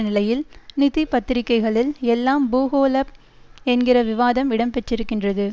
நிலையில் நிதி பத்திரிகைகளில் எல்லாம் பூகோள என்கிற விவாதம் இடம் பெற்றிருக்கின்றது